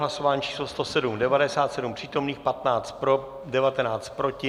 Hlasování číslo 107, 97 přítomných, 15 pro, 19 proti.